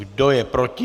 Kdo je proti?